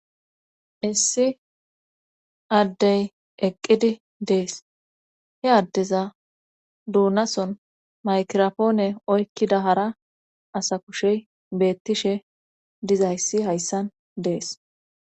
Issi addey eqqidi dees he addeza duunason maykiropoone oykkida hara asa kushey beettishe dizayssi hayssan dees.